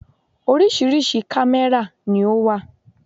Orísìírísìí kámẹ́rà ni ó wà.